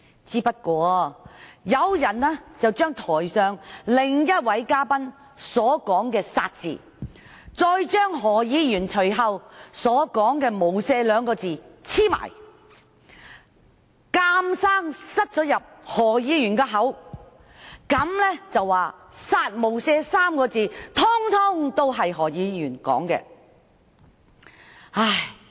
只是有人把台上另一位嘉賓所說的"殺"字，與何議員隨後所說的"無赦"兩個字連在一起，硬要放進何議員的口中，說"殺無赦 "3 個字全是何議員說的。